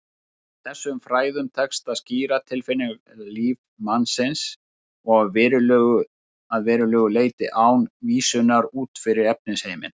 Þessum fræðum tekst að skýra tilfinningalíf mannsins að verulegu leyti án vísunar út fyrir efnisheiminn.